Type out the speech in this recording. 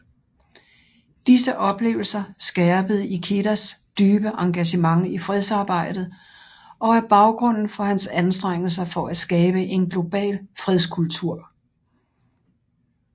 Disse oplevelser skærpede Ikedas dybe engagement i fredsarbejdet og er baggrunden for hans anstrengelser for at skabe en global fredskultur